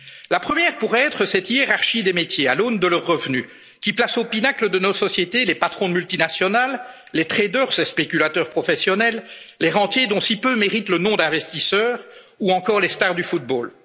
La première pourrait être cette hiérarchie des métiers, à l'aune de leurs revenus, qui place au pinacle de nos sociétés les patrons de multinationales, les traders ces spéculateurs professionnels les rentiers dont si peu méritent le nom d'investisseurs ou encore les stars